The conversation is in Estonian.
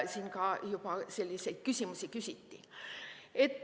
Siin juba küsiti selliseid küsimusi.